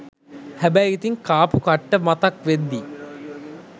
හැබැයි ඉතින් කාපු කට්ට මතක් වෙද්දී